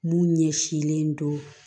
Mun ɲɛsinlen don